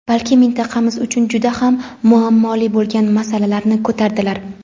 balki mintaqamiz uchun juda ham muammoli bo‘lgan masalalarni ko‘tardilar.